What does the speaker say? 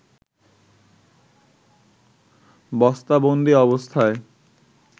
বস্তাবন্দি অবস্থায়